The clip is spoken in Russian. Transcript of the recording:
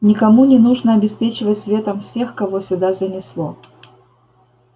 никому не нужно обеспечивать светом всех кого сюда занесло